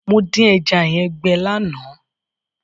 Mo dín ẹja yẹn gbẹ lánàá.